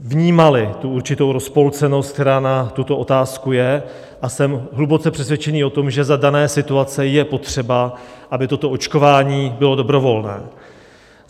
vnímali tu určitou rozpolcenost, která na tuto otázku je, a jsem hluboce přesvědčený o tom, že za dané situace je potřeba, aby toto očkování bylo dobrovolné.